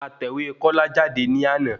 A tẹ̀wé Kọ́lá jáde ní àná